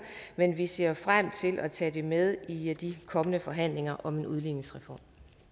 men vi ser frem til at tage det med i de kommende forhandlinger om en udligningsreform